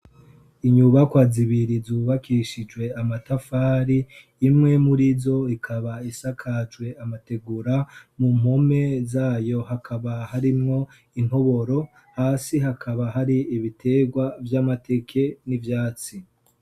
Inyubakwa zibiri zubakishijwe amatafari imwe murizo ikaba isakajwe amategura mu mpome zayo hakaba harimwo intoboro hasi hakaba hari ibiterwa vy'amateke n'ivyatsi.